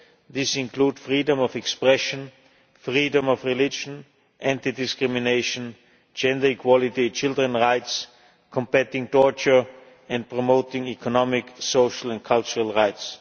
These include freedom of expression, freedom of religion, anti discrimination, gender equality, children's rights, combating torture and promoting economic, social and cultural rights.